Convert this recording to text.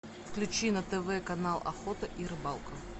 включи на тв канал охота и рыбалка